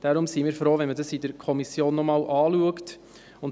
Deshalb sind wir froh, wenn man das in der Kommission noch einmal anschaut.